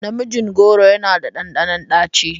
Namijin goro yana da ɗanɗanon ɗaci.